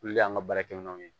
Olu de y'an ka baarakɛ minɛnw ye